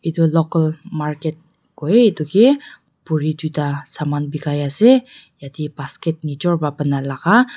itu local market koi eduke buri duita saman bikai ase yetey basket nijor pra bana laga.